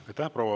Aitäh!